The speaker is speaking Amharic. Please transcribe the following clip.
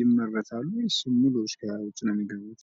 ይመረታሉ ወይስ ሙሉ ከውጪ ነው የሚገቡት?